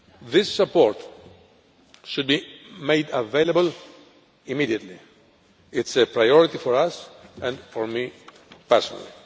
This support should be made available immediately it is a priority for us, and for me personally.